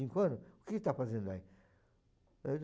cinco anos? O que você está fazendo aí?